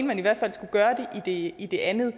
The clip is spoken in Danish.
man i hvert fald skulle gøre det i det andet